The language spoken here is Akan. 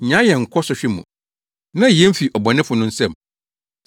Nnyaa yɛn nkɔ sɔhwɛ mu. Na yi yɛn fi ɔbɔnefo no nsam.’